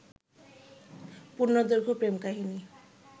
পূর্ণদৈর্ঘ্য প্রেম কাহিনী